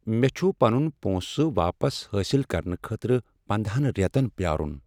مےٚ چھٗ پنٗن پونٛسہٕ واپس حٲصل کرنہٕ خٲطرٕ پندہَن ریتن پیارٗن